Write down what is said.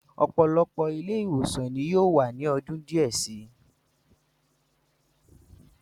Ọ̀pọ̀lọpọ̀ ilé-ìwòsàn ni yóò wà ní ọdún díẹ̀ si.